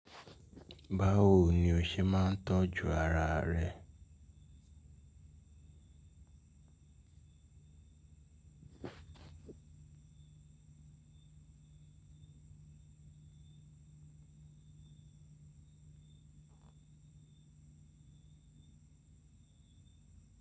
Báwo ni o ṣe máa ń tọ́jú ara rẹ?